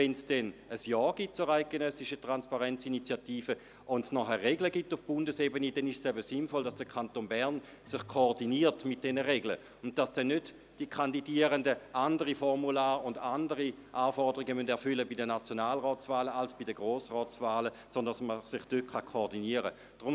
Wenn ein Ja zur eidgenössischen «Transparenz-Initiative» herauskommt und es dann Regeln auf Bundesebene gibt, dann ist es sinnvoll, dass der Kanton Bern sich mit diesen Regeln koordiniert und die Kandidierenden bei den Nationalratswahlen nicht andere Formulare ausfüllen und andere Anforderungen erfüllen müssen als bei den Grossratswahlen, sondern dass man sich koordinieren kann.